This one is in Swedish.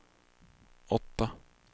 åtta